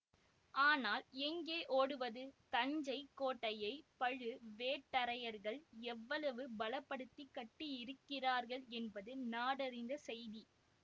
ஆனால் எங்கே ஓடுவது தஞ்சை கோட்டையைப் பழுவேட்டரையர்கள் எவ்வளவு பலப்படுத்திக் கட்டியிருக்கிறார்கள் என்பது நாடறிந்த செய்தி